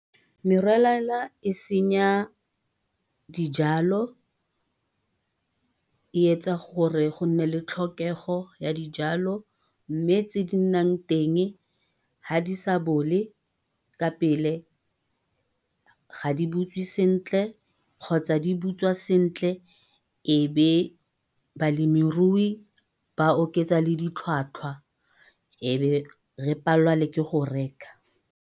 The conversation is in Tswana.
Merwalela e senya dijalo, e etsa gore go nne le tlhokego ya dijalo. Mme tse di nnang teng, ga di sa bole ka pele, ga di butswe sentle kgotsa di butswa sentle ebe balemirui ba oketsa le ditlhwatlhwa. Ebe re palelwa le ke go reka.